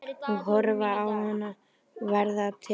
Og horfa á hana verða til.